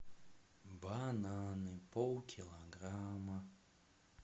бананы полкилограмма